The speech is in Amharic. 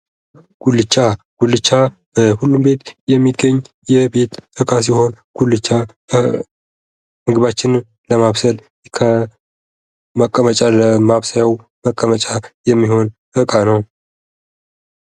ጉልቻ ፦ ጉልቻ በሁሉም ቤት የሚገኝ የቤት ዕቃ ሲሆን ጉልቻ ምግባችንን ለማብሰል ከመቀመጫ ለማብሰያው መቀመጫ የሚሆን እቃ ነው ።